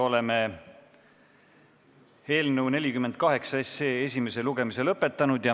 Oleme eelnõu 48 esimese lugemise lõpetanud.